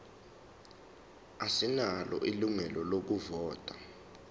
asinalo ilungelo lokuvota